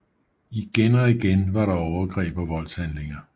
Igen og igen var der overgreb og voldshandlinger